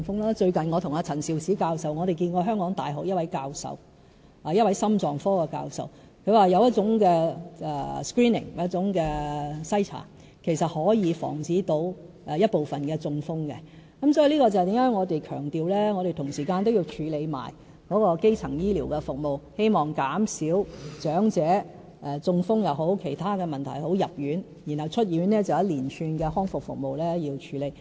我最近和陳肇始教授與一位香港大學心臟科的教授會面，他表示有一種 screening 可以防止部分的中風，這便是何以我們強調同時要處理基層醫療的服務，希望減少長者因中風或其他問題入院，然後出院後便是一連串康復服務需要處理。